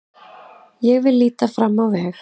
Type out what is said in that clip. Ég vil líta fram á veg.